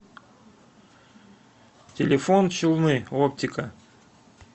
телефон челны оптика